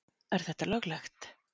Er þetta löglegt?